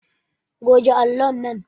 Goge allon nan